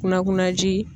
Kunna kuna ji